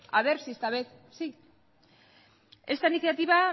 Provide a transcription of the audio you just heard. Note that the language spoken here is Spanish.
a ver si esta vez sí esta iniciativa